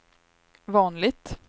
vanligt